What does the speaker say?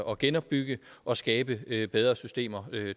og genopbygge og skabe bedre systemer